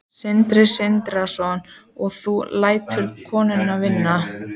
Sindri Sindrason: og þú lætur konuna vinna?